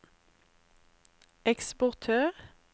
eksportør